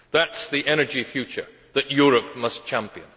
That is the energy future that Europe must champion.